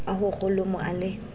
a ho kholomo a le